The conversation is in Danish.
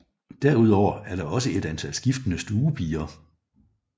Derudover er der også et antal skiftende stuepiger